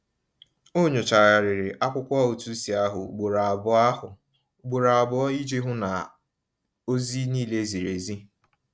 Ọ nyochagharịrị akwụkwọ ụtụisi ahụ ugboro abụọ ahụ ugboro abụọ iji hụ na ozi niile ziri ezi.